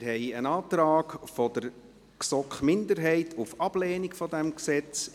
Wir haben einen Antrag der GSoK-Minderheit auf Ablehnung dieses Gesetzes.